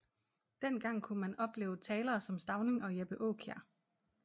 Dengang kunne man opleve talere som Stauning og Jeppe Aakjær